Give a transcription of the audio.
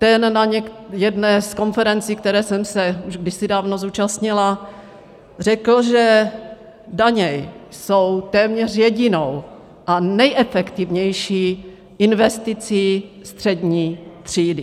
Ten na jedné z konferencí, které jsem se už kdysi dávno zúčastnila, řekl, že daně jsou téměř jedinou a nejefektivnější investicí střední třídy.